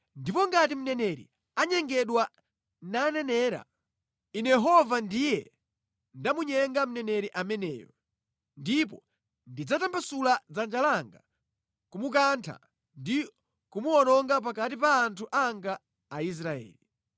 “ ‘Ndipo ngati mneneri anyengedwa nanenera, Ine Yehova ndiye ndamunyenga mneneri ameneyo, ndipo ndidzatambasula dzanja langa kumukantha ndi kumuwononga pakati pa anthu anga Aisraeli.